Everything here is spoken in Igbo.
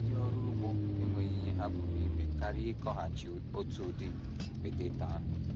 Ndị ọrụ ugbo enweghị ihe ha pụrụ ime karịa ịkọghachi otu udị poteto ahụ.